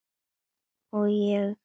Ég týni ruslið upp af gólfinu í pokann.